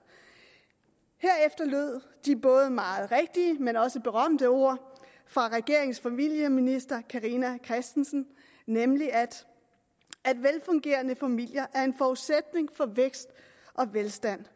herefter lød de meget rigtige men også berømte ord fra regeringens familieminister carina christensen nemlig at velfungerende familier er en forudsætning for vækst og velstand